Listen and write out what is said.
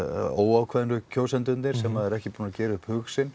óákveðnu kjósendurnir sem eru ekki búnir að gera upp hug sinn